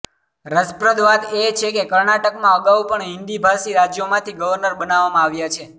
રસપ્રદ વાત એ છે કે કર્ણાટકમાં અગાઉ પણ હિન્દીભાષી રાજ્યોમાંથી ગવર્નર બનાવામાં આવ્યા છે